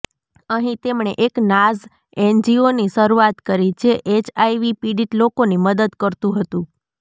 અહીં તેમણે એક નાઝ એનજીઓની શરૂઆત કરી જે એચઆઈવી પીડિત લોકોની મદદ કરતુ હતુ